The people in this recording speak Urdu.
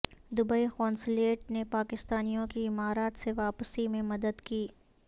دبئی قونصلیٹ نے پاکستانیوں کی امارات سے واپسی میں مدد کی